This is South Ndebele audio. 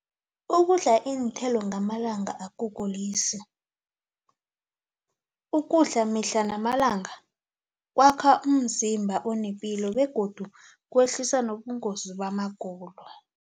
Ukudla iinthelo ngamalanga akugulisi ukudla mihla namalanga kwakha umzimba onepilo begodu kwehlisa nobungozi bamagulo.